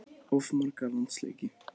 Of marga landsleiki?